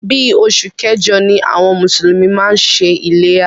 Bí oṣù kẹjọ ni àwọn mùsùlùmí máa ń ṣe iléyá.